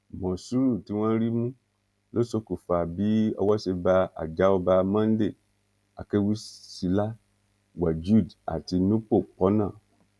mòsúrù tí wọn rí mú ló ṣokùnfà bí owó ṣe bá àjàọba monday akẹwúsílà wajud àti nupo pọnà